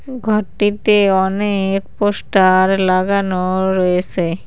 ঘরটিতে অনেক পোস্টার লাগানো রয়েসে।